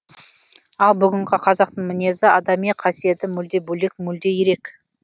ал бүгінгі қазақтың мінезі адами қасиеті мүлде бөлек мүлде ерек